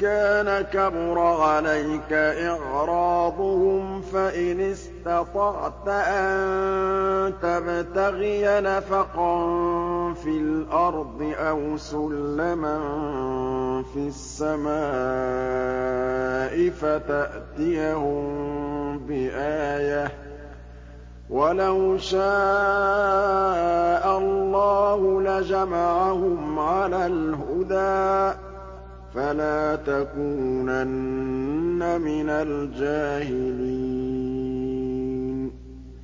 كَانَ كَبُرَ عَلَيْكَ إِعْرَاضُهُمْ فَإِنِ اسْتَطَعْتَ أَن تَبْتَغِيَ نَفَقًا فِي الْأَرْضِ أَوْ سُلَّمًا فِي السَّمَاءِ فَتَأْتِيَهُم بِآيَةٍ ۚ وَلَوْ شَاءَ اللَّهُ لَجَمَعَهُمْ عَلَى الْهُدَىٰ ۚ فَلَا تَكُونَنَّ مِنَ الْجَاهِلِينَ